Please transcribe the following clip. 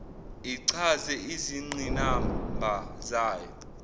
ichaze izingqinamba zayo